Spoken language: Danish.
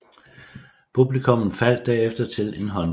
Publikummet faldt derefter til en håndfuld